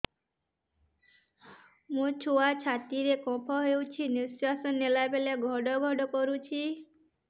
ମୋ ଛୁଆ ଛାତି ରେ କଫ ହୋଇଛି ନିଶ୍ୱାସ ନେଲା ବେଳେ ଘଡ ଘଡ କରୁଛି